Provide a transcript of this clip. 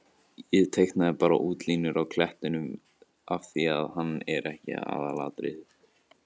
Ég teiknaði bara útlínurnar á klettinum af því að hann er ekki aðalatriðið.